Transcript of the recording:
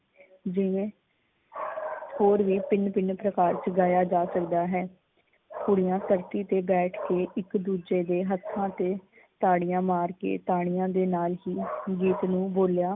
ਜਿਵੇਂ ਥੋੜ ਵੀ ਭਿੰਨ ਭਿੰਨ ਪ੍ਰਕਾਰ ਚ ਗਾਇਆ ਜਾ ਸਕਦਾ ਹੈ। ਕੁੜੀਆਂ ਧਰਤੀ ਤੇ ਬੈਠ ਕੇ ਇੱਕ ਦੂਜੇ ਦੇ ਹੱਥਾਂ ਤੇ ਤਾੜੀਆਂ ਮਾਰਕੇ ਤਾੜੀਆਂ ਦੇ ਨਾਲ ਹੀ ਗੀਤ ਨੂੰ ਬੋਲਿਆ।